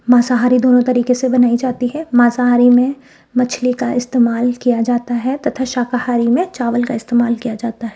मांसाहारी दोनों तरीके से बनाई जाती है मांसाहारी में मछली का इस्तेमाल किया जाता है तथा शाकाहारी में चावल का इस्तेमाल किया जाता है।